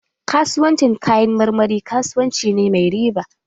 Kasuwancin kayan marmari kasuwanci ne mai riba.